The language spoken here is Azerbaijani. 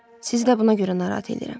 Sizi də buna görə narahat eləyirəm.